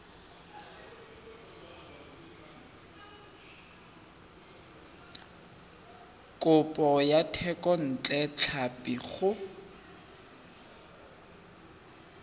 kopo ya thekontle tlhapi go